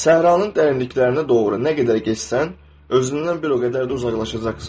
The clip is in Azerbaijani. Səhranın dərinliklərinə doğru nə qədər getsən, özündən bir o qədər də uzaqlaşacaqsan.